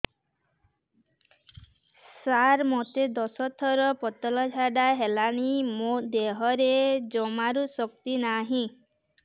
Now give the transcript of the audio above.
ସାର ମୋତେ ଦଶ ଥର ପତଳା ଝାଡା ହେଇଗଲାଣି ମୋ ଦେହରେ ଜମାରୁ ଶକ୍ତି ନାହିଁ